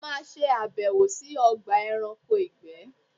Mo má ṣe àbẹ̀wò sí Ogba eranko ìgbé